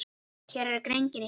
Hér er greinin í heild.